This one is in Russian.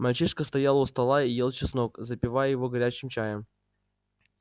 мальчишка стоял у стола и ел чеснок запивая его горячим чаем